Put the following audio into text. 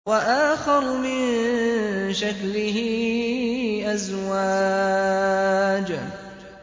وَآخَرُ مِن شَكْلِهِ أَزْوَاجٌ